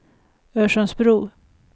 Örsundsbro